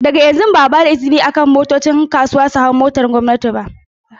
Daga yanzu, ba a ba da izinin motocin kasuwa su hau kan hanyoyin gwamnati ba.